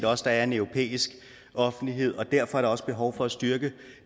også der er en europæisk offentlighed og derfor er der også behov for at styrke